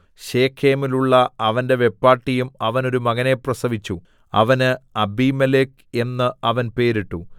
ശെഖേമിലുള്ള അവന്റെ വെപ്പാട്ടിയും അവന് ഒരു മകനെ പ്രസവിച്ചു അവന് അബീമേലെക്ക് എന്നു അവൻ പേരിട്ടു